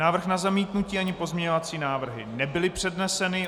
Návrh na zamítnutí ani pozměňovací návrhy nebyly předneseny.